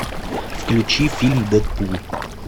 включи фильм дэдпул